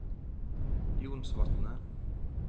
Jonsvatnet